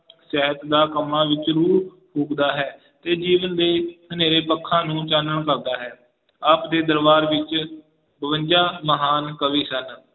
ਕੰਮਾਂ ਵਿੱਚ ਹੈ ਤੇ ਦਿਲ ਦੇ ਹਨੇਰੇ ਪੱਖਾਂ ਨੂੰ ਚਾਨਣ ਕਰਦਾ ਹੈ, ਆਪਦੇ ਦਰਬਾਰ ਵਿੱਚ ਬਵੰਜਾ ਮਹਾਨ ਕਵੀ ਸਨ